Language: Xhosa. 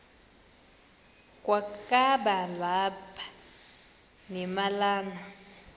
kwakaba lapha nemalana